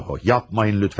Yox, yapmayın lütfən.